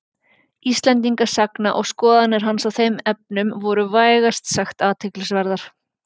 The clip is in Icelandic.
Íslendingasagna og skoðanir hans á þeim efnum voru vægast sagt athyglisverðar.